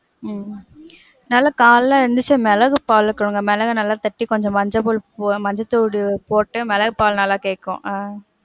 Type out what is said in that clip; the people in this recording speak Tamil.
உம் உம் நல்ல காலையில எழுந்திச்சா மிளகு பால குடுங்க. மிளக நல்ல தட்டி கொஞ்சம் மஞ்ச போ, மஞ்ச தூள் போட்டு, மிளகு பால் நல்லா கேக்கும். ஆஹ்